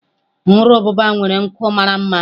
Nru ububa nwere nku mara mma.